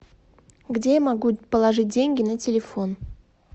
где я могу положить деньги на телефон